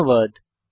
ধন্যবাদ